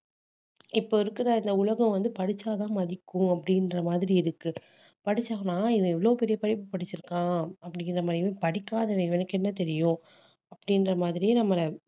இப்ப இருக்கிற இந்த உலகம் வந்து படிச்சாதான் மதிக்கும் அப்படின்ற மாதிரி இருக்கு படிச்சோம்னா இவன் எவ்வளவு பெரிய படிப்பு படிச்சிருக்கான் அப்படிங்கற மாதிரி இவன் படிக்காதவன் இவனுக்கு என்ன தெரியும் அப்படின்ற மாதிரி நம்மள